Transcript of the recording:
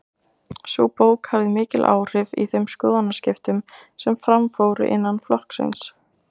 Sú bók hafði mikil áhrif í þeim skoðanaskiptum sem fram fóru innan flokksins.